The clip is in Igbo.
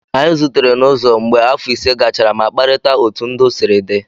Anyị zutere n'ụzọ mgbe afọ ise gachara ma kparịta otú ndụ sịrị dị